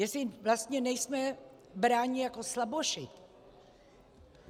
Jestli vlastně nejsme bráni jako slaboši.